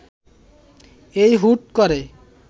এই হুট করে